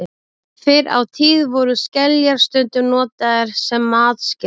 Fyrr á tíð voru skeljar stundum notaðar sem matskeiðar.